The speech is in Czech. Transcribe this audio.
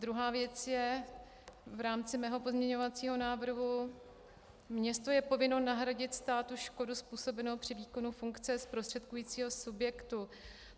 Druhá věc je v rámci mého pozměňovacího návrhu - město je povinno nahradit státu škodu způsobenou při výkonu funkce zprostředkujícího subjektu.